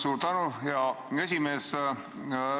Suur tänu, hea esimees!